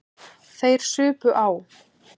Þeir supu á.